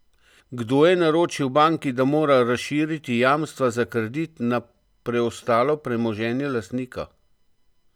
Kdo je naročil banki, da mora razširiti jamstva za kredit na preostalo premoženje lastnika?